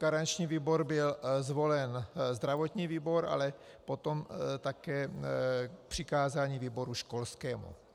Garančním výborem byl zvolen zdravotní výbor, ale potom také přikázání výboru školskému.